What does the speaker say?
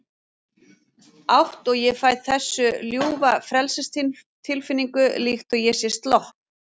átt og ég fæ þessa ljúfu frelsistilfinningu, líkt og ég sé slopp